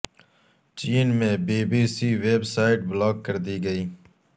چین میں B B C website block کر دی گئی